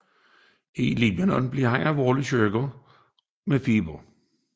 I Libanon blev han alvorligt syg af feber